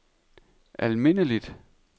almindeligt